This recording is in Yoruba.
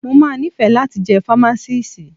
Mo máa nífẹ̀ẹ́ láti jẹ́ fámásíìsì.